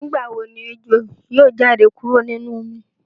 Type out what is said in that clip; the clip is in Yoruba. Nigbawo ni ejo yoo jade kuro ninu omi?